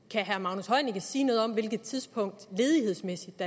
kan sige noget om hvilket tidspunkt ledighedsmæssigt